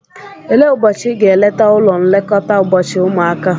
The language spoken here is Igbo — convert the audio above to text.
Elee ụbọchị ị ga-eleta ụlọ nlekọta ụbọchị ụmụaka?